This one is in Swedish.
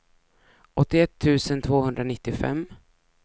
åttioett tusen tvåhundranittiofem